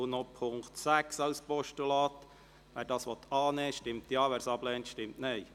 Wer den Punkt 6 als Postulat annehmen will, stimmt Ja, wer dies ablehnt, stimmt Nein.